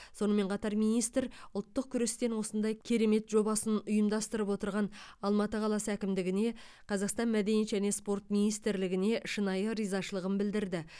сонымен қатар министр ұлттық күрестен осындай керемет жобасын ұйымдастырып отырған алматы қаласы әкімдігіне қазақстан мәдениет және спорт министрлігіне шынайы ризашылығын білдірді